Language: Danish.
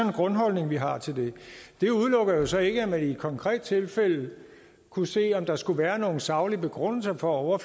en grundholdning vi har til det det udelukker jo så ikke at man i et konkret tilfælde kunne se om der skulle være nogle saglige begrundelser for at